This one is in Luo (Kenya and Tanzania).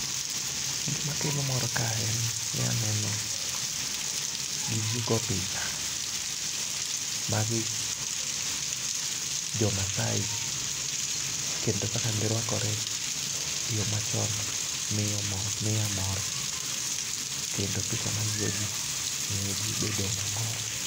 Gik makelo mor ka en ni aneno picha. Magi jomasaai kendo kaka girwakore e yoo machon miyo mo miya mor kendo picha ma gigo jii miyo jii bedo mamor.